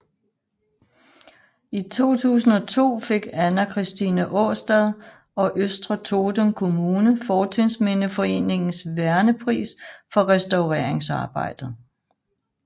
I 2002 fik Anna Christine Årstad og Østre Toten kommune Fortidsminneforeningens vernepris for restaureringsarbejdet